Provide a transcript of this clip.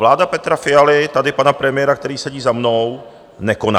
Vláda Petra Fialy, tady pana premiéra, který sedí za mnou, nekoná.